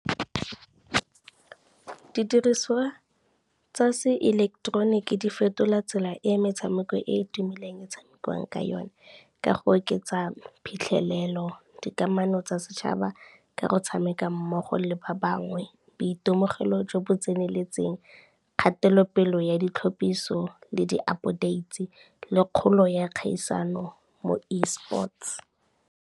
Didiriswa tsa seileketeroniki di fetola tsela e e metshameko e e tumileng e tshamekiwang ka yone, ka go oketsa phitlhelelo, dikamano tsa setšhaba, ka go tshameka mmogo le ba bangwe, boitemogelo jo bo tseneletseng, kgatelopele ya ditlhapiso le di-update le kgolo ya kgaisano mo e-sports.